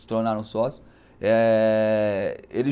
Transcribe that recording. se tornaram sócios. é ele